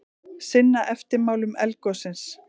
Sinna eftirmálum eldgossins